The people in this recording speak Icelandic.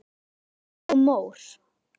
Mýrar og mór